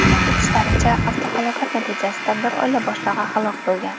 Qayd etishlaricha, avtohalokat natijasida bir oila boshlig‘i halok bo‘lgan.